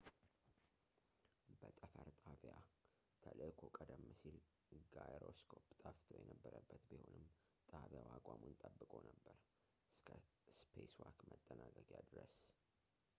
በጠፈር ጣቢያ ተልእኮው ቀደም ሲል ጋይሮስኮፕ ጠፍቶ የነበረበት ቢሆንም ጣቢያው አቋሙን ጠብቆ ነበር እስከ ስፔስዋክ መጠናቀቂያ ድረስ